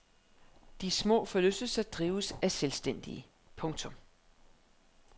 De små forlystelser drives af selvstændige. punktum